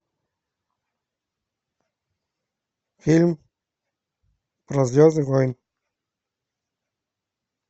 фильм про звездные войны